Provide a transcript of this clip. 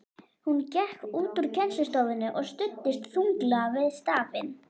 Hún gekk út úr kennslustofunni og studdist þunglega við stafinn.